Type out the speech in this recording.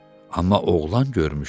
Amma oğlan görmüşdü.